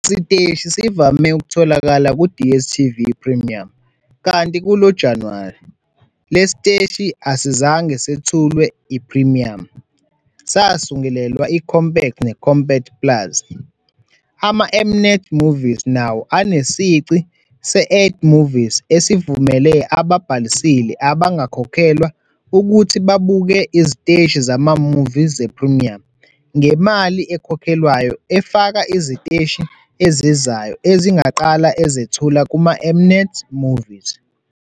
Lesi siteshi sivame ukutholakala ku-DStv Premium kanti kulo Januwari, lesi siteshi asizange sethulwe iPrimiyamu, sasungulelwa iCompact neCompact plus. Ama-M-Net Movies nawo anesici se-Add Movies esivumela ababhalisile abangakhokhelwa ukuthi babuke iziteshi zama-movie ze-premium ngemali ekhokhelwayo efaka iziteshi ezizayo ezingaqala ezethula kuma-M-Net Movies.